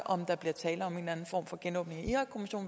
om der bliver tale om en eller anden form for genåbning